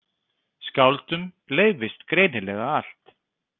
Skáldum leyfist greinilega allt.